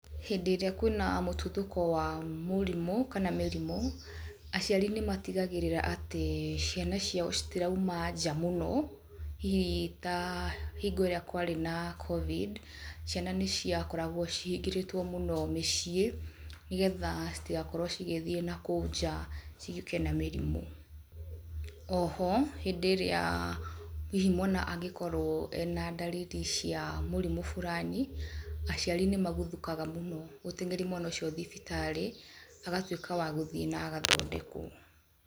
Hĩndĩ ĩrĩa kwĩna mũtuthũko wa mũrimũ kana mĩrimũ, aciari nĩmatigagĩrĩra atĩ ciana ciao citirauma nja mũno, hihi ta hĩngo ĩrĩa kwarĩ na Covid ciana nĩ ciakoragwo cingĩhĩrĩtwo mũno mĩciĩ nĩgetha citigakorwo cigithiĩ na kũu nja ciũke na mĩrimũ. Oho hĩndĩ ĩrĩa hihi mwana angĩkorwo ena ndariri cia mũrimũ fulani, aciari nĩ maguthũkaga mũno gũteng'eria mwana ũcio thibitarĩ agatuĩka wa gũthiĩ na agathondekwo.